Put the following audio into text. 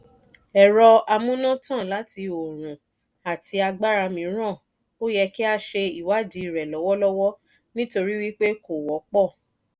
ẹ̀rọ amúnátàn láti oòrùn àti agbára mìíràn o yẹ kí a ṣe ìwadiirẹ̀ lọ́wọ́lọ́wọ́ nítorí wípé kò wọ́ pọ̀.